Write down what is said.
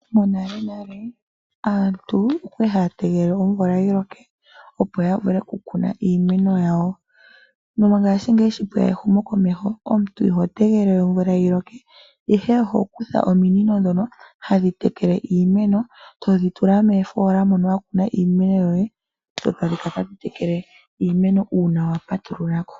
Monalenale aantu okwali haya tegelele omvula yi loke, opo ya vule kukuna iimeno yawo. Mongashingeyi sho pwe ya ehumokomeho omuntu iho tegelele omvula yi loke, ihe oho kutha ominino ndhono hadhi tekela iimeno e todhi tula mofoola mono wa kuna iimeno yoye dho tadhi kala tadhi tekele iimeno uuna wa patulula ko.